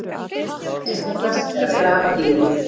Einfaldast er að grafa dýrið.